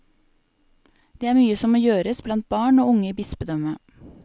Det er mye som må gjøres blant barn og unge i bispedømmet.